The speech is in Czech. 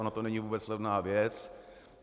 Ona to není vůbec levná věc.